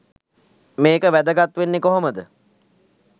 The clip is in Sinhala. මේක වැදගත් වෙන්නෙ කොහොමද?